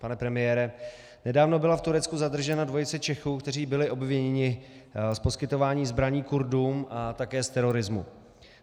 Pane premiére, nedávno byla v Turecku zadržena dvojice Čechů, kteří byli obviněni z poskytování zbraní Kurdům a také z terorismu.